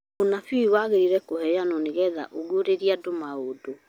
ũnabii wagĩrĩirwo kũheanwo nĩ getha ũguũrĩrie andũ maũndũ